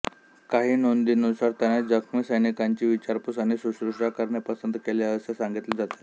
काही नोंदींनुसार त्याने जखमी सैनिकांची विचारपूस आणि शुश्रूषा करणे पसंत केले असे सांगितले जाते